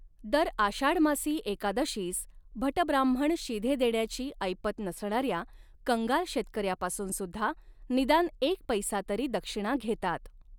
दर आषाढमासी एकादशीस भटब्राह्मण शिधे देण्याची ऐपत नसणाऱ्या कंगाल शेतकऱ्यापासून सुद्धा निदान एक पैसा तरी दक्षिणा घेतात.